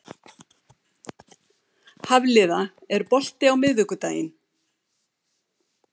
Hafliða, er bolti á miðvikudaginn?